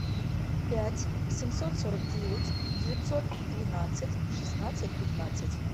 пять семьсот сорок девять девятьсот двенадцать шестнадцать пятнадцать